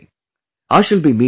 I shall be meeting you later